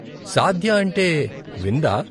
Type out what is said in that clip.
సాద్య అంటే విందా?